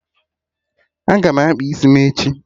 Aga m akpa isi m echi